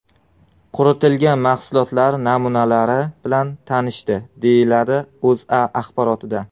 Quritilgan mahsulotlar namunalari bilan tanishdi”, deyiladi O‘zA axborotida.